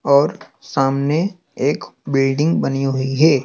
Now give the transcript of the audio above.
और सामने एक बिल्डिंग बनी हुई है।